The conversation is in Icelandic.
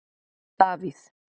Davíð